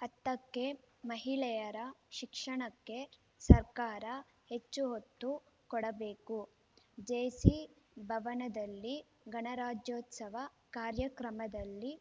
ಹತ್ತಕ್ಕೆ ಮಹಿಳೆಯರ ಶಿಕ್ಷಣಕ್ಕೆ ಸರ್ಕಾರ ಹೆಚ್ಚು ಒತ್ತು ಕೊಡಬೇಕು ಜೇಸಿ ಭವನದಲ್ಲಿ ಗಣರಾಜ್ಯೋತ್ಸವ ಕಾರ್ಯಕ್ರಮದಲ್ಲಿ